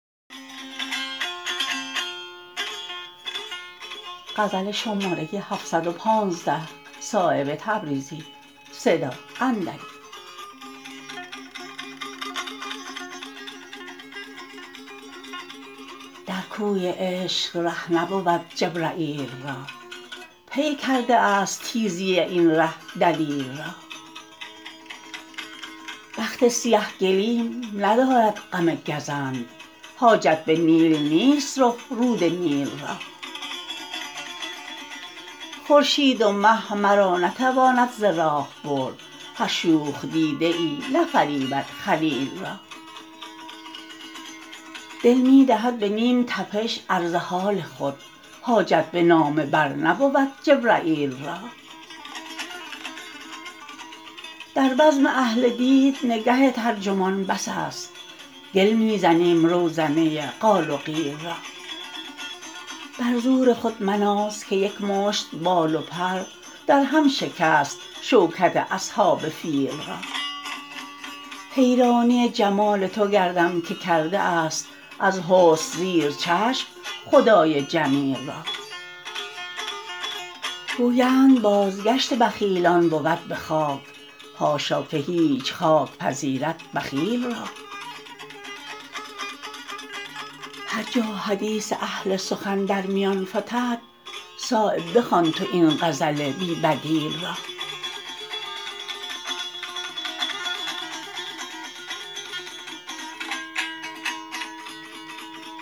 در کوی عشق ره نبود جبرییل را پی کرده است تیزی این ره دلیل را بخت سیه گلیم ندارد غم گزند حاجت به نیل نیست رخ رود نیل را خورشید و مه مرا نتواند ز راه برد هر شوخ دیده ای نفریبد خلیل را دل می دهد به نیم تپش عرض حال خود حاجت به نامه بر نبود جبرییل را در بزم اهل دید نگه ترجمان بس است گل می زنیم روزنه قال و قیل را بر زور خود مناز که یک مشت بال و پر درهم شکست شوکت اصحاب فیل را حیرانی جمال تو گردم که کرده است از حسن سیر چشم خدای جمیل را گویند بازگشت بخیلان بود به خاک حاشا که هیچ خاک پذیرد بخیل را هر جا حدیث اهل سخن در میان فتد صایب بخوان تو این غزل بی بدیل را